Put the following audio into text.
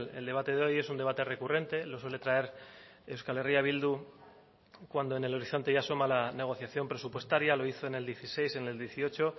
el debate de hoy es un debate recurrente lo suele traer euskal herria bildu cuando en el horizonte ya asoma la negociación presupuestaria lo hizo en el dieciséis en el dieciocho